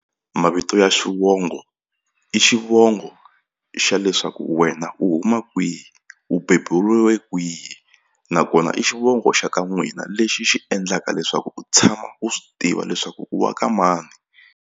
Mavito ya xivongo i xivongo xa leswaku wena u huma kwihi u beburiwe kwihi nakona i xivongo xa ka n'wina lexi xi endlaka leswaku u tshama u swi tiva leswaku u wa ka mani.